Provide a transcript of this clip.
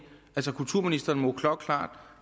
altså kulturministeren må klokkeklart